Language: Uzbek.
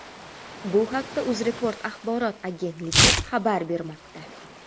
Bu haqda UzReport axborot agentligi xabar bermoqda .